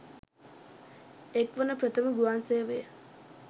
එක්වන ප්‍රථම ගුවන්සේවය